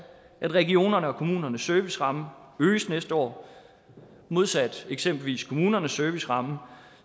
at regionernes og kommunernes servicerammer øges næste år modsat eksempelvis kommunernes serviceramme